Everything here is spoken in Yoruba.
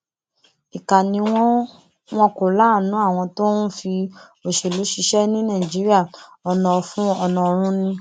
ìkà ni wọn wọn kò láàánú àwọn tó ń fi òṣèlú ṣiṣẹ ní nàìjíríà ọnà ọfun ọnà ọrun ni